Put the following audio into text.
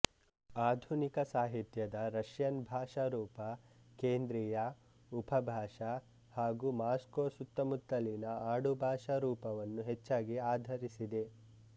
ಆಧುನಿಕ ಸಾಹಿತ್ಯದ ರಷ್ಯನ್ ಭಾಷಾರೂಪ ಕೇಂದ್ರಿಯ ಉಪಭಾಷಾ ಮತ್ತು ಮಾಸ್ಕೋ ಸುತ್ತಮುತ್ತಲಿನ ಆಡುಭಾಷಾ ರೂಪವನ್ನು ಹೆಚ್ಚಾಗಿ ಆಧರಿಸಿದೆ